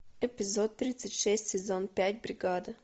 эпизод тридцать шесть сезон пять бригада